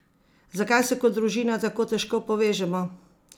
Zakaj se kot družina tako težko povežemo?